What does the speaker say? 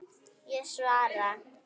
Ég svara.